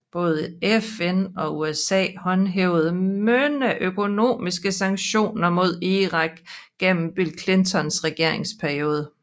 Både FN og USA håndhævede mange økonomiske sanktioner mod Irak igennem Bill Clintons regeringsperiode